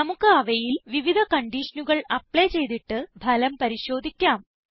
നമുക്ക് അവയിൽ വിവിധ കൺഡീഷനുകൾ അപ്ലൈ ചെയ്തിട്ട് ഫലം പരിശോധിക്കാം